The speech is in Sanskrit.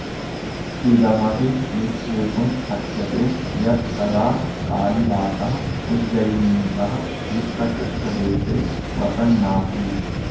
झ्दमपि निश्चेतुं शक्यते यत्तदा कालिदासः उज्जयिनीतः विप्रकृष्टदेशे वसन्नासीत्